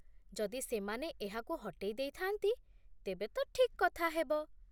ଯଦି ସେମାନେ ଏହାକୁ ହଟେଇ ଦେଇଥାନ୍ତି, ତେବେ ତ ଠିକ୍ କଥା ହେବ।